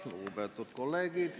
Lugupeetud kolleegid!